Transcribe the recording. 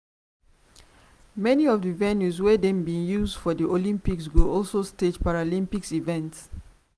many of di venues wey dem bin use for olympics go also stage paralympic events.